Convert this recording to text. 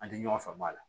An tɛ ɲɔgɔn faamu a la